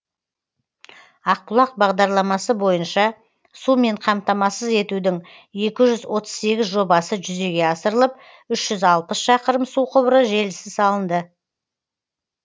ақ бұлақ бағдарламасы бойынша сумен қамтамасыз етудің екі жүз отыз сегіз жобасы жүзеге асырылып үш жүз алпыс шақырым су құбыры желісі салынды